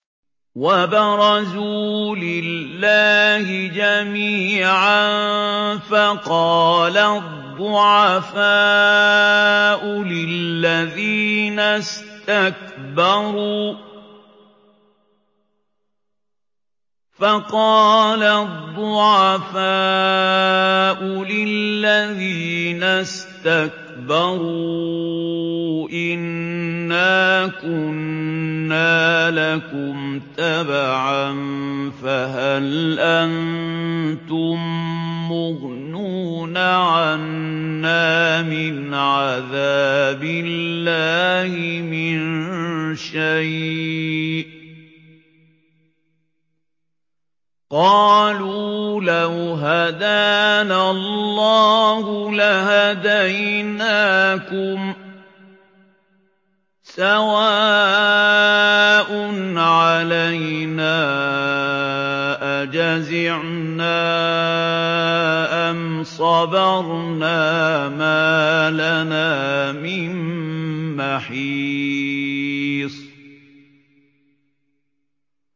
وَبَرَزُوا لِلَّهِ جَمِيعًا فَقَالَ الضُّعَفَاءُ لِلَّذِينَ اسْتَكْبَرُوا إِنَّا كُنَّا لَكُمْ تَبَعًا فَهَلْ أَنتُم مُّغْنُونَ عَنَّا مِنْ عَذَابِ اللَّهِ مِن شَيْءٍ ۚ قَالُوا لَوْ هَدَانَا اللَّهُ لَهَدَيْنَاكُمْ ۖ سَوَاءٌ عَلَيْنَا أَجَزِعْنَا أَمْ صَبَرْنَا مَا لَنَا مِن مَّحِيصٍ